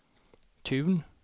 Tun